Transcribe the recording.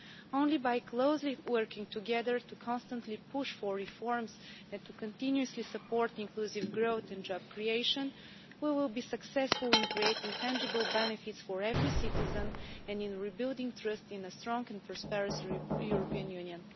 Only by closely working together to constantly push for reforms, and to continuously support inclusive growth and job creation, will we be successful in creating tangible benefits for every citizen and in rebuilding trust in a strong and prosperous European Union.